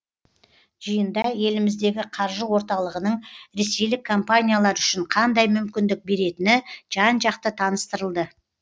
жиында еліміздегі қаржы орталығының ресейлік компаниялар үшін қандай мүмкіндік беретіні жан жақты таныстырылды